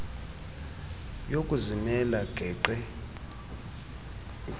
yokuzimela geqe ugqr